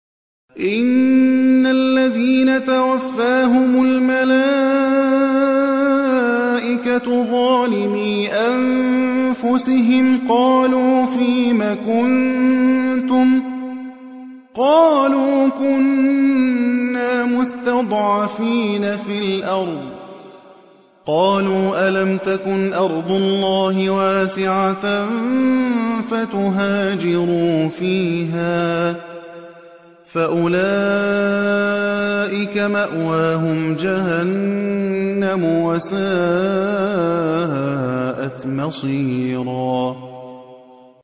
إِنَّ الَّذِينَ تَوَفَّاهُمُ الْمَلَائِكَةُ ظَالِمِي أَنفُسِهِمْ قَالُوا فِيمَ كُنتُمْ ۖ قَالُوا كُنَّا مُسْتَضْعَفِينَ فِي الْأَرْضِ ۚ قَالُوا أَلَمْ تَكُنْ أَرْضُ اللَّهِ وَاسِعَةً فَتُهَاجِرُوا فِيهَا ۚ فَأُولَٰئِكَ مَأْوَاهُمْ جَهَنَّمُ ۖ وَسَاءَتْ مَصِيرًا